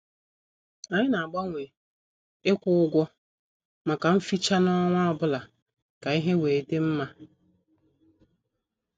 Anyị na- agbanwe ikwu ụgwọ maka mficha n' ọnwa ọbụla ka ihe wee dị mma.